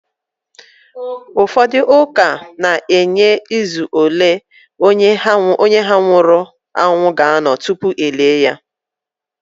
Ụfọdụ ụka na-enye izu ole onye ha nwụrụ anwụ ga-anọ tupu e lie ya